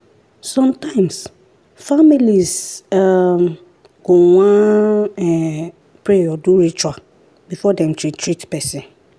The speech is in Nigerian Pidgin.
sometimes families um go wan um pray or do ritual before dem treat treat person.